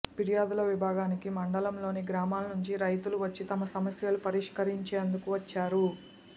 ఫిర్యాదుల విభాగానికి మండలంలోని గ్రామాల నుంచి రైతులు వచ్చి తమ సమస్యలు పరిష్కరించేందుకు వచ్చారు